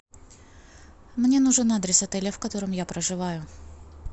мне нужен адрес отеля в котором я проживаю